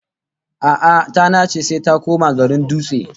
A'a, ta nace sai ta koma garin Dutse